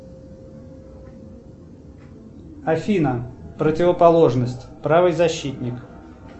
афина противоположность правый защитник